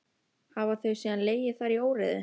Hafa þau síðan legið þar í óreiðu.